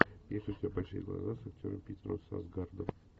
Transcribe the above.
есть ли у тебя большие глаза с актером питером сарсгаардом